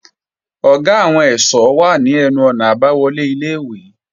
Ọ̀gá àwọn ẹ̀ṣọ́ wà ní ẹnu-ọ̀nà àbáwọlé ilé-ìwé